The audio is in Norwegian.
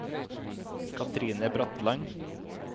Katrine Bratland